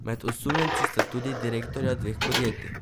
Med osumljenci sta tudi direktorja dveh podjetjih.